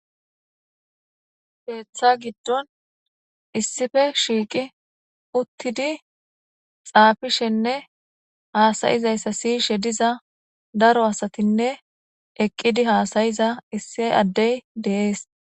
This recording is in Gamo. Keeththa giddon issife shiiqi uttidi xaafishenne haasayizayssa siyishe diza daro asatinne eqqidi haasayiza issi addey dees.